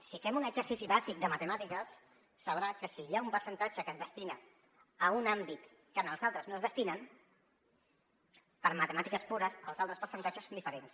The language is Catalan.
si fem un exercici bàsic de matemàtiques sabrà que si hi ha un percentatge que es destina a un àmbit que en els altres no es destinen per matemàtiques pures els altres percentatges són diferents